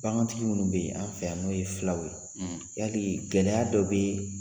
Bagantigi minnu bɛ yen an fɛ yan n'o ye filaw ye, yali gɛlɛyaya dɔ bɛ yen